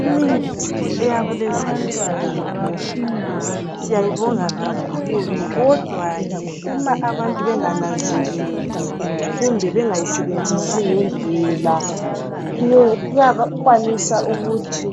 Imithi yakulezinsuku siyayibonga kakhulu kodwa ke uma abantu bengananzeleli kumbe bengayisebenzisi ngendlela iyakwanisa ukuthi